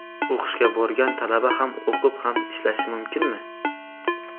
O‘qishga borgan talaba ham o‘qib, ham ishlashi mumkinmi?